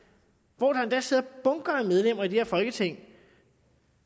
hvor der endda sidder bunker af medlemmer i det her folketing